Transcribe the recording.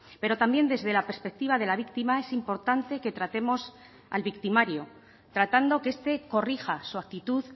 pero también desde la perspectiva de la víctima es importante que tratemos al victimario tratando que este corrija su actitud